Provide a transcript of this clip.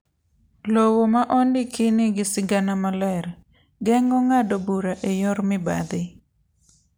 Lowo ma ondiki nigi sigana maler, geng'o ng'ado bura e yor mibadhi.